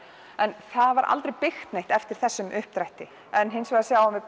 en það var aldrei byggt neitt eftir þessum uppdrætti en hins vegar sjáum við